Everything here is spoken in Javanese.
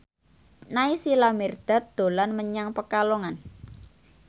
Naysila Mirdad dolan menyang Pekalongan